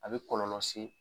A be kɔlɔlɔ se